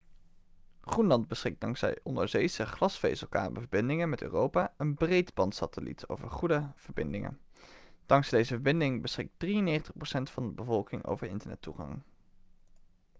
groenland beschikt dankzij onderzeese glasvezelkabelverbindingen met europa en breedbandsatelliet over goede verbindingen dankzij deze verbindingen beschikt 93% van de bevolking over internettoegang